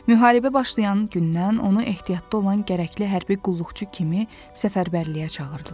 Müharibə başlayan gündən onu ehtiyatda olan gərəkli hərbi qulluqçu kimi səfərbərliyə çağırdılar.